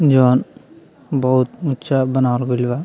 जौन बहुत उँचा बनावल गइल बा।